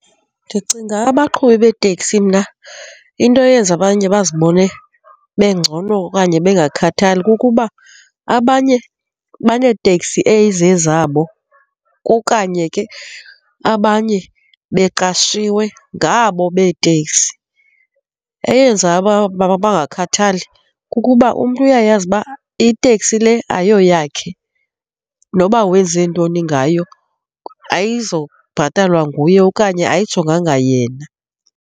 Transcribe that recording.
Ndicinga abaqhubi beeteksi mna into eyenza abanye bazibone bengcono okanye bengakhathali kukuba abanye baneeteksi eyizezabo okanye ke abanye beqashiwe ngabo beetekisi. Eyenza uba bangakhathali kukuba umntu uyayazi uba iteksi le ayoyakhe, noba wenze ntoni ngayo ayizubhatalwa nguye okanye ayijonganga yena.